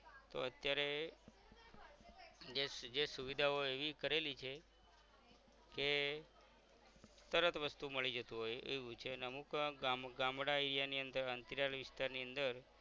તો અત્યારે જે જે સુવિધાઓ એવી કરેલી છે કે તરત વસ્તુ મળી જતું હોય એવું છે ને અમુક વાર ગામ ગામડા area ની અંદર વિસ્તારની અંદર